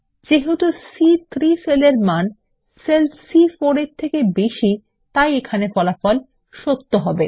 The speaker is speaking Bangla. যেহেতু সি3 সেল এর মান সেল সি4 এর মানের থেকে বেশী তাই এখানে ফলা ফল সত্যহবে